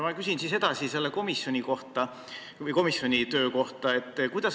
Ma küsin siis edasi komisjoni töö kohta.